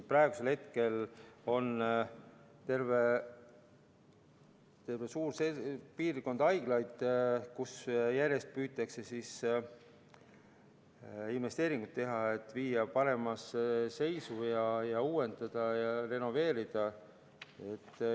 Praegu on terve suur hulk haiglaid, kus järjest püütakse investeeringuid teha, et viia neid paremasse seisu, uuendada ja renoveerida.